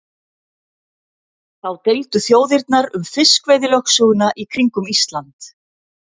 Þá deildu þjóðirnar um fiskveiðilögsöguna í kringum Ísland.